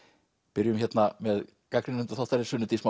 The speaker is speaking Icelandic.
byrjum hérna með gagnrýnendum þáttarins Sunnu Dís